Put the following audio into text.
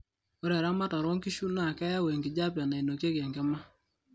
ore eramatare oonkishu naa keyau enkijape nainokieki enkima